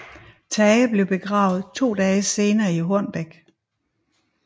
Tage blev begravet to dage senere i Hornbæk